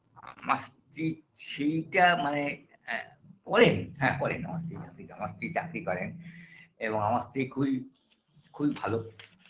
আমার স্ত্রী ছি টা মানে আ করে হ্যাঁ করে না আমার স্ত্রী চাকরি করে এবং আমার স্ত্রী খুবই খুবই ভালো